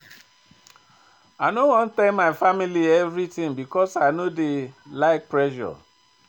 I no wan tell my family everytin because I no dey like pressure.